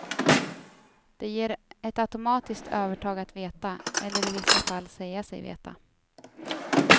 Det ger ett automatiskt övertag att veta, eller i vissa fall säga sig veta.